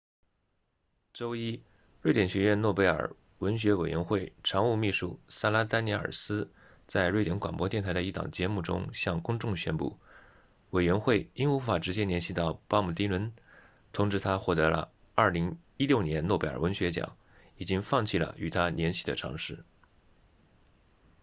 周一瑞典学院诺贝尔文学委员会常务秘书萨拉丹尼尔斯在瑞典广播电台的一档节目中向公众宣布委员会因无法直接联系到鲍勃迪伦通知他获得了2016年诺贝尔文学奖已经放弃了与他联系的尝试